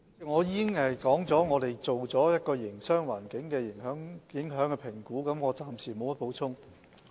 我已經指出我們做了一項對營商環境的影響評估，我暫時沒有補充。